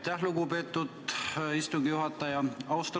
Aitäh, lugupeetud istungi juhataja!